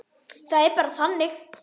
Það er bara þannig.